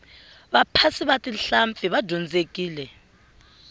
vaphasi va tihlampfi va dyondzekile